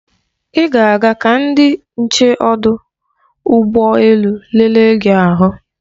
Ị ga-aga ka ndị nche ọdụ ụgbọ elu lelee gị ahụ.